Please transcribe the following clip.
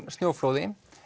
snjóflóðum